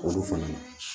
Olu fana